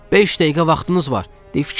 Beş dəqiqə vaxtınız var, deyin fikirləşin.